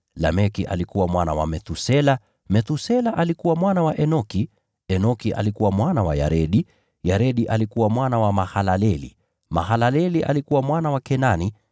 Lameki alikuwa mwana wa Methusela, Methusela alikuwa mwana wa Enoki, Enoki alikuwa mwana wa Yaredi, Yaredi alikuwa mwana wa Mahalaleli, Mahalaleli alikuwa mwana wa Kenani,